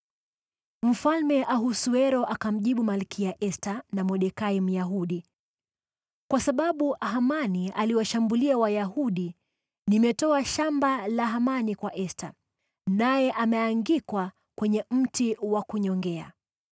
Mfalme Ahasuero akawajibu Malkia Esta na Mordekai Myahudi, “Kwa sababu Hamani aliwashambulia Wayahudi, nimetoa shamba la Hamani kwa Esta, naye ameangikwa kwenye mti wa kunyongea.